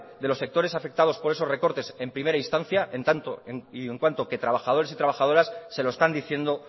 de los sectores afectados por esos recortes en primera instancia en tanto y en cuanto que trabajadores y trabajadoras se lo están diciendo